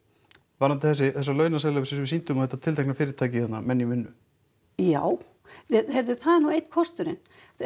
varðandi þessa launaseðla sem við sýndum og þetta tiltekna fyrirtæki þarna menn í vinnu já heyrðu það er nú einn kosturinn